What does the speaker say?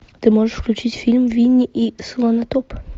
ты можешь включить фильм винни и слонотоп